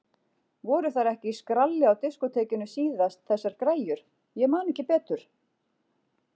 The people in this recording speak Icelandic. Voru þær ekki í skralli á diskótekinu síðast þessar græjur, ég man ekki betur.